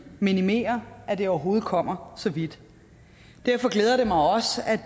minimerer at det overhovedet kommer så vidt derfor glæder det mig også at